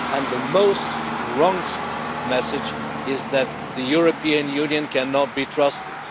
The most wrong message is that the European Union cannot be trusted.